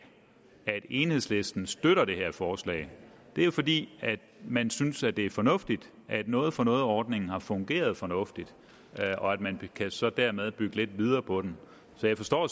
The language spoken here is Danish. at enhedslisten støtter det her forslag det er jo fordi man synes at det er fornuftigt at noget for noget ordningen har fungeret fornuftigt og at man så dermed kan bygge lidt videre på den så jeg forstår